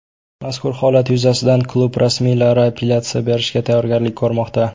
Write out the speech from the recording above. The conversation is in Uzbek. Mazkur holat yuzasidan klub rasmiylari apellyatsiya berishga tayyorgarlik ko‘rmoqda.